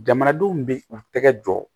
Jamanadenw bɛ u tɛgɛ jɔ